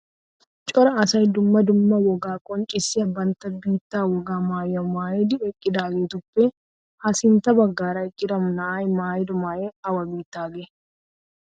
Cora asay dumma dumma wogaa qonccissiya bantta biittaa wogaa maayuwa maayidi eqqidaageetuppe ha sintta baggaara eqqida na'ay maayido maayoy awa biittaagee?